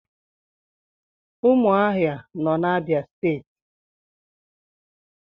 Umuahia no na Abia steeti